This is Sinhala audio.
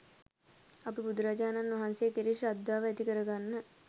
අපි බුදුරජාණන් වහන්සේ කෙරෙහි ශ්‍රද්ධාව ඇති කරගන්න